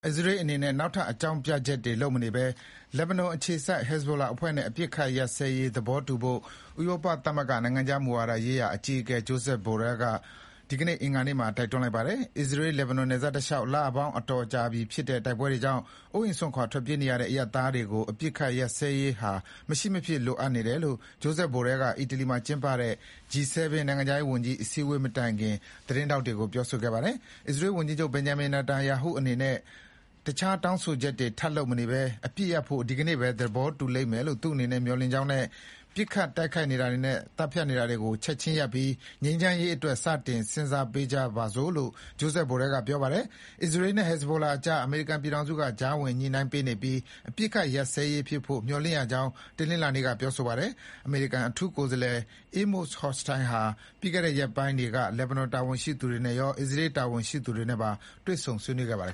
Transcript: အစ္စရေးအနေနဲ့ နောက်ထပ်အကြောင်းပြချက်တွေလုပ်မနေဘဲ လက်ဘနွန်အခြေစိုက် ဟက်ဇဘိုလာ တွေနဲ့ အပစ်အခတ်ရပ်စဲရေးသဘောတူဖို့ ဥရောပသမဂ္ဂ နိုင်ငံခြားရေးမူဝါဒဆိုင်ရာ အကြီးအကဲ Josep Borrell ကအင်္ဂါနေ့မှာတိုက်တွန်းလိုက်ပါ တယ်။ အစ္စရေး-လက်ဘနွန်နယ်စပ်တလျှောက် လပေါင်းအတော်ကြာပြီဖြစ်တဲ့တိုက်ပွဲတွေကြောင့် အိုးအိမ် စွန့်ခွါထွက်ပြေးနေရတဲ့ အရပ်သားတွေအတွက် အပစ်အခတ်ရပ်စဲရေးဟာ မရှိမဖြစ်လိုအပ်တယ်လို့ Joshep Borrell က အီတလီနိုင်ငံမှာကျင်းပတဲ့ G7 နိုင်ငံခြားရေးဝန်ကြီးအစည်းအဝေးမတိုင်မီ သတင်းထောက်တွေကိုပြောခဲ့ပါတယ်။ အစ္စရေးဝန်ကြီးချုပ် Benjamin Netanyahu အနေနဲ့ အခြားတောင်းဆိုချက်တွေထပ်လုပ်မနေဘဲ အပစ်ရပ်ဖို့ ဒီကနေ့ပဲသဘောတူလိမ့်မယ်လို့ သူအနေနဲ့မျှော်လင့်ကြောင်းနဲ့ ပစ်ခတ်တိုက်ခိုက်နေတာ တွေနဲ့ သတ်ဖြတ်နေတာတွေ ချက်ခြင်းရပ်ပြီး ငြိမ်းချမ်းရေးအတွက် စတင်စဉ်းစားကြပါစို့လို့လည်း Josep Borell ကပြောပါတယ်။ အစ္စရေးနဲ့ ဟက်ဇဘိုလာတွေကြား အမေရိကန်ပြည်ထောင်စုကကြားဝင်ညှိနှိုင်းပေးနေပြီး အပစ် ရပ်စဲရေးဖြစ်ဖို့မျှော်လင့်ရကြောင်း တနင်္လာနေ့ကပြောခဲ့ပါတယ်။ အမေရိကန် အထူးကိုယ်စားလှယ် Amos Hochstein ဟာ ပြီးခဲ့ရက်ပိုင်းတွေက လက်ဘနွန်တာဝန်ရှိသူတွေနဲ့ရော အစ္စရေးတာဝန်ရှိ သူတွေနဲ့ပါ တွေ့ဆုံဆွေးနွေးခဲ့ပါတယ်